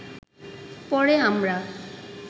পরে আমরা